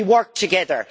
We work together.